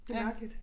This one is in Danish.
Det mærkeligt